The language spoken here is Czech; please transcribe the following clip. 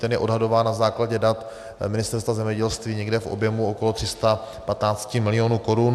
Ten je odhadován na základě dat Ministerstva zemědělství někde v objemu okolo 315 milionů korun.